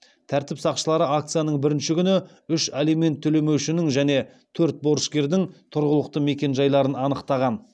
тәртіп сақшылары акцияның бірінші күні үш алимент төлемеушінің және төрт борышкердің тұрғылықты мекенжайларын анықтаған